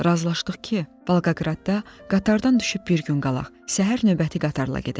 Razılaşdıq ki, Volqoqradda qatardan düşüb bir gün qalaq, səhər növbəti qatarla gedək.